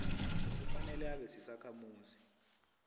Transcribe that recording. kufanele abe sisakhamuzi